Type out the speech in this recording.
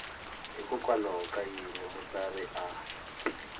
hikokwalaho ka yini mutsari a